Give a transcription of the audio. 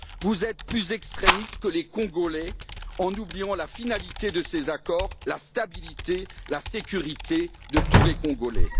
Vous êtes plus extrémistes que les Congolais en oubliant la finalité de ces accords, à savoir la stabilité, la sécurité de tous les Congolais.